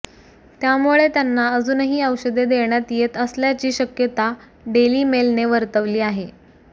त्यामुळे त्यांना अजूनही औषधे देण्यात येत असल्याची शक्यता डेली मेलने वर्तवली आहे